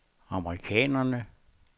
amerikanerne